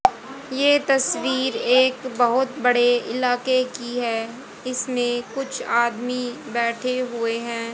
ये तस्वीर एक बहुत बड़े इलाके की है इसमें कुछ आदमी बैठे हुए हैं।